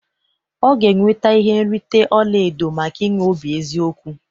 Ọ ga-enweta ihe nrite ọla edo maka inwe obi eziokwu